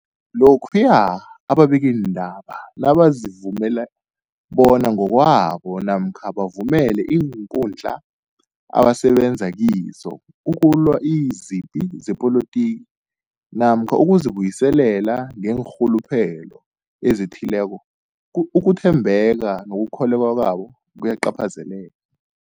Lokhuya ababikiindaba nabazivumela bona ngokwabo namkha bavumele iinkundla abasebenza kizo ukulwa izipi zepolitiki namkha ukuzi buyiselela ngeenrhuluphelo ezithileko, ku ukuthembeka nokukholweka kwabo kuyacaphazeleka.